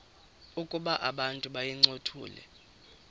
ukuba abantu bayincothule